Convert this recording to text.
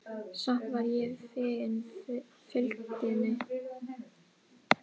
Samt var ég fegin fylgdinni.